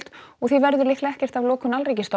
og því verður líklega ekkert af lokun